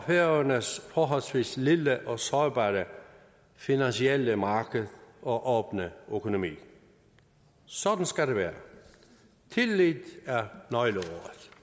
færøernes forholdsvis lille og sårbare finansielle marked og åbne økonomi sådan skal det være tillid er nøgleordet